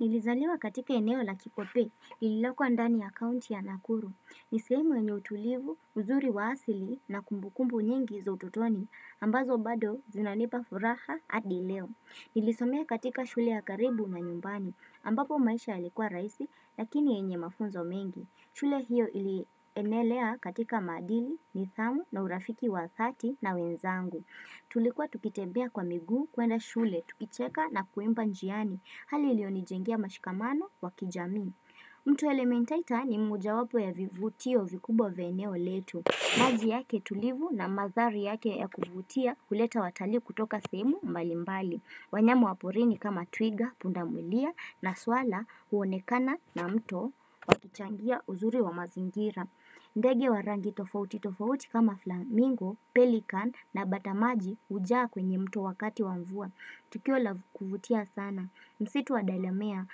Nilizaliwa katika eneo na kipope, ililokuwa ndani ya kaunti ya nakuru. Nisehemu yenye utulivu, uzuri wa asili na kumbukumbu nyingi za ututoni, ambazo bado zinanipa furaha hadi leo. Nilisomea katika shule ya karibu na nyumbani, ambapo maisha yalikuwa raisi, lakini yenye mafunzo mengi. Shule hiyo ili enelea katika maadili, nidhamu na urafiki wathati na wenzangu Tulikua tukitembea kwa miguu kuenda shule, tukicheka na kuimba njiani Hali ili onijengia mashikamano wakijami mto elementaita ni moja wapo ya vivutio vikubwa vya eneo letu maji yake tulivu na mandhari yake ya kuvutia huleta watalii kutoka sehemu malimbali wanyama waporini kama twiga, punda mulia na swala huonekana na mtu Tuchangia uzuri wa mazingira ndege wa rangi tofauti tofauti kama flamingo, pelikan na bata maji hujaa kwenye mto wakati wavua Tukio la kuvutia sana msitu wa dalemea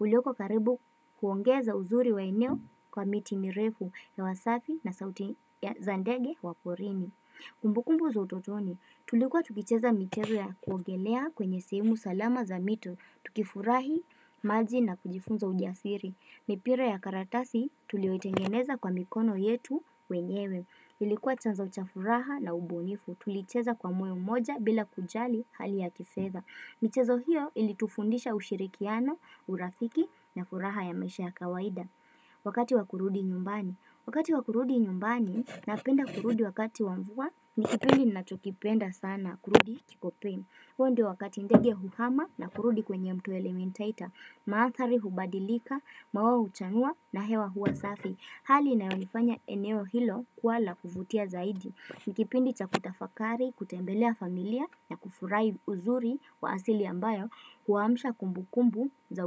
ulioko karibu kuongeza uzuri wa eneo kwa miti mirefu hewa safi na sauti ya za ndege wa porini Kumbukumbu za utotoni Tulikuwa tukicheza michezo ya kuogelea kwenye sehemu salama za mito Tukifurahi maji na kujifunza ujasiri mipira ya karatasi tulio itengeneza kwa mikono yetu wenyewe Ilikuwa chanzo cha furaha na ubunifu Tulicheza kwa moyo mmoja bila kujali hali ya kifedha michezo hiyo ilitufundisha ushirikiano, urafiki na furaha ya maisha ya kawaida Wakati wa kurudi nyumbani Wakati wa kurudi nyumbani napenda kurudi wakati wa mvua ni kipindi nachokipenda sana kurudi kikopemi hio ndo wakati ndeg huhama na kurudi kwenye mto elementaita Maandhari hubadilika, maua huchanua na hewa hua safi Hali inayonifanya eneo hilo kuwa la kuvutia zaidi Nikipindi cha kutafakari, kutembelea familia na kufurahi uzuri wa asili ambayo Huamsha kumbu kumbu za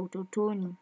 utotoni.